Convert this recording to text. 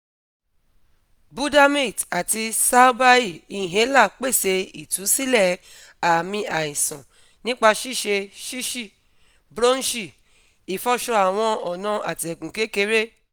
budamate ati salbair inhaler pese itusilẹ aami aisan nipa ṣiṣe shishi-bronchi ifọṣọ awọn ọna atẹgun kekere